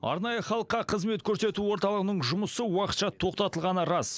арнайы халыққа қызмет көрсету орталығының жұмысы уақытша тоқтатылғаны рас